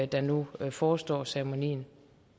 der nu forestår ceremonien